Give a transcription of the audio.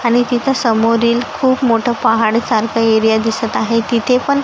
आणि तिथं समोरील खूप मोठा पहाड सारखं एरिया दिसतं आहे. तिथे पण--